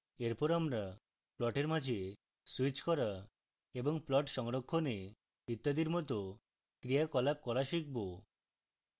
এরপর আমরা প্লটের মাঝে স্যুইচ করা এবং plots সংরক্ষণে ইত্যাদির মত ক্রিয়াকলাপ করা শিখব